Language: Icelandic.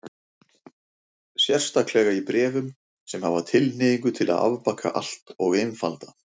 Sérstaklega í bréfum sem hafa tilhneigingu til að afbaka allt og einfalda.